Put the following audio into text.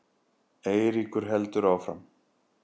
Eiríkur heldur áfram.